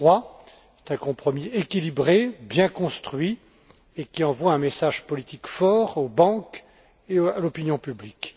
3. C'est un compromis équilibré, bien construit et qui envoie un message politique fort aux banques et à l'opinion publique.